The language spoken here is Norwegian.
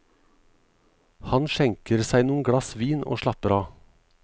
Han skjenker seg noen glass vin og slapper av.